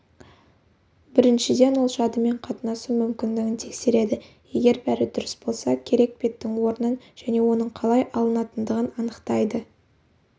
біріншіден ол жадымен қатынасу мүмкіндігін тексереді егер бәрі дұрыс болса керек беттің орнын және оның қалай алынатындығын анықтайды